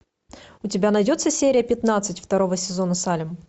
у тебя найдется серия пятнадцать второго сезона салем